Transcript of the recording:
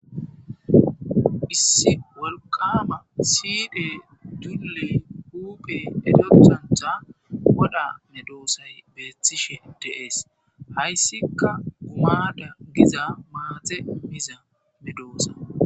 Issi wolqama siidhe dulley huuphey elethantha wodha medoosay beethishe deees hayssika gumada giza maaxe miza medoosa,